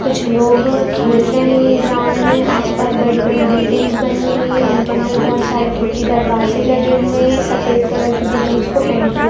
कुछ लोग खेल रहे है ग्राउंड में आस-पास बड़ी-बड़ी बिल्डिंग्स बनी हुई है उनके अंदर बहुत सारे खिड़की दरवाजे लगे हुए है सफेद कलर की बिल्डिंग्स को पेंट किया--